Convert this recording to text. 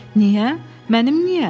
Mənim niyə?